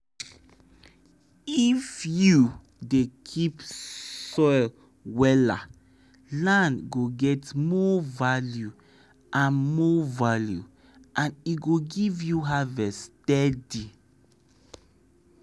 if you dey keep soil wella land go get more value and more value and e go give you harvest steady.